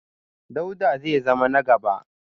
Dauda zai zama na gaba